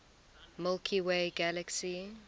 milky way galaxy